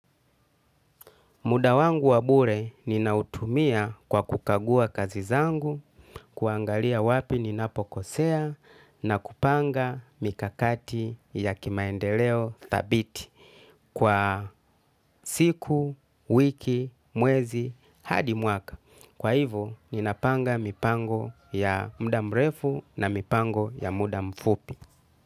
Muda wangu wa bure ninautumia kwa kukagua kazi zangu, kuangalia ni wapi ninapokosea na kupanga mikakati ya maendeleo thabiti kwa siku, wiki, mwezi hadi mwaka. Kwa hivyo, ninapanga mipango ya muda mrefu na mipango ya muda mfupi.